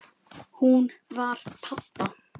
Hún var padda.